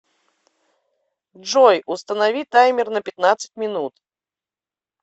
джой установи таймер на пятнадцать минут